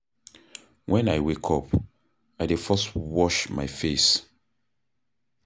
Wen I wake up, I dey first wash my face.